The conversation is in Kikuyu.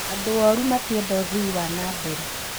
Andũ ooru matienda ũthii wanambere